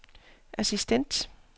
assistent